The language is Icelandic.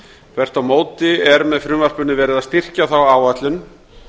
þvert á móti er með frumvarpinu verið að styrkja þá áætlun